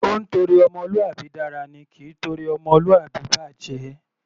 Ó ńtorí ọmọlúwàbí dára ni; kì í torí ọmọlúwàbí bàjẹ̀.